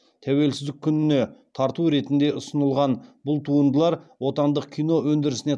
тәуелсіздік күніне тарту ретінде ұсынылған бұл туындылар отандық кино өндірісіне